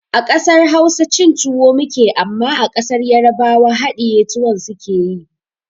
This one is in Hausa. A ƙasar Hausa cin tuwo muke amma a ƙasar yarbawa haɗiye tuwon su suke yi